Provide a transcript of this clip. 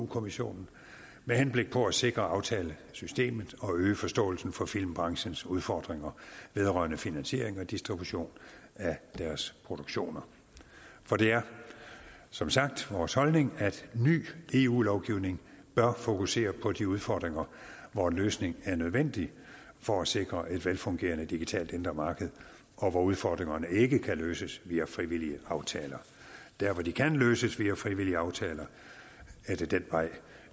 kommissionen med henblik på at sikre aftalesystemet og øge forståelsen for filmbranchens udfordringer vedrørende finansiering og distribution af deres produktion for det er som sagt vores holdning at ny eu lovgivning bør fokusere på de udfordringer hvor en løsning er nødvendig for at sikre et velfungerende digitalt indre marked og hvor udfordringerne ikke kan løses via frivillige aftaler der hvor de kan løses via frivillige aftaler er det den vej